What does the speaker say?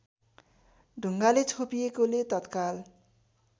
ढुङ्गाले छोपिएकोले तत्काल